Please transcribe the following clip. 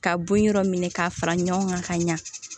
Ka bon yɔrɔ minɛ k'a fara ɲɔgɔn kan ka ɲa